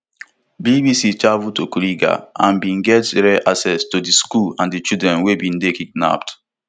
bbc travel to kuriga and bin get rare access to di school and di children wey bin dey kidnapped